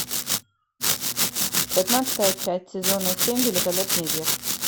пятнадцатая часть сезона семь великолепный век